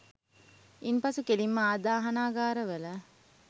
ඉන් පසු කෙළින්ම ආදාහනාගාර වල